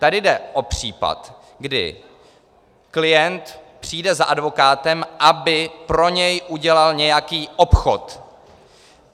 Tady jde o případ, kdy klient přijde za advokátem, aby pro něj udělal nějaký obchod.